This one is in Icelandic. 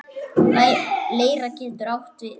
Leira getur átt við